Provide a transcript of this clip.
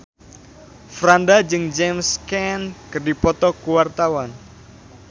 Franda jeung James Caan keur dipoto ku wartawan